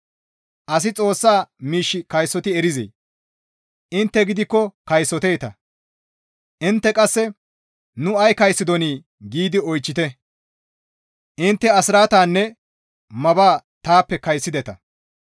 «Asi Xoossa miish kaysoti erizee? Intte gidikko kaysoteeta; intte qasse, ‹Nu ay kaysotidonii?› giidi oychchite; intte asraatanne maba taappe kaysotideta.